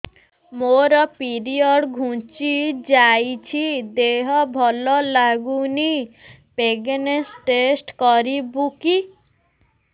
ମୋ ପିରିଅଡ଼ ଘୁଞ୍ଚି ଯାଇଛି ଦେହ ଭଲ ଲାଗୁନି ପ୍ରେଗ୍ନନ୍ସି ଟେଷ୍ଟ କରିବୁ କି